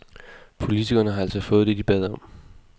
Politikerne har altså fået det de bad om.